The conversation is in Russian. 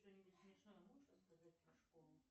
что нибудь смешное можешь рассказать про школу